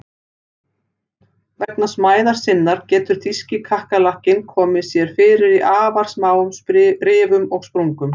Vegna smæðar sinnar getur þýski kakkalakkinn komið sér fyrir í afar smáum rifum og sprungum.